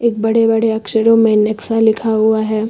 एक बड़े बड़े अक्षरों में नेक्सा लिखा हुआ हैं।